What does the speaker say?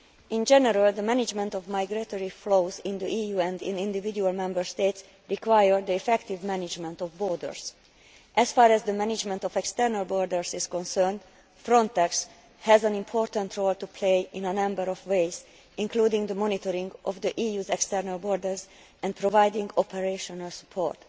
In general the management of migratory flows in the EU and in individual Member States requires the effective management of borders. As far as the management of external borders is concerned, Frontex has an important role to play in a number of ways, including the monitoring of the EU's external borders and providing operational support.